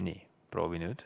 Nii, proovi nüüd.